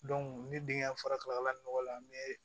ne denkɛ fɔra kalakala ni nɔgɔ la n bɛ